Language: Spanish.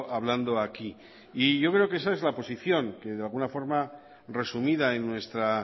hablando aquí y yo creo que esa es la posición que de alguna forma resumida en nuestra